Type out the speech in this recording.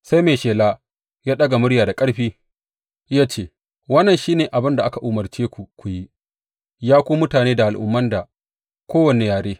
Sai mai shela ya daga murya da ƙarfi ya ce, Wannan shi ne abin da aka umarce ku ku yi, ya ku mutane da al’umma da kowane yare.